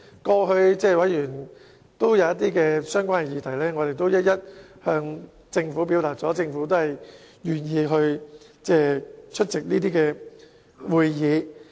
過去委員提出希望討論一些議題，我們也一一向政府表達，而政府也願意出席相關會議。